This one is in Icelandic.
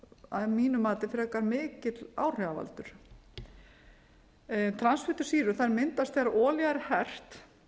að mínu mati frekar mikill áhrifavaldur transfitusýra myndast þegar olía er hert